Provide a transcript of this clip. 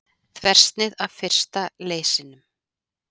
Þversnið af fyrsta leysinum.